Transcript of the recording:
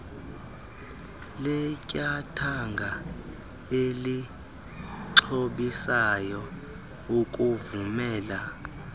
letyathanga elixhobisayo ukuvumela